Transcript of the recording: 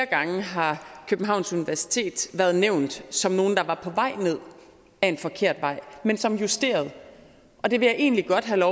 gange har københavns universitet været nævnt som nogen der var på vej ned ad en forkert vej men som justerede og det vil jeg egentlig godt have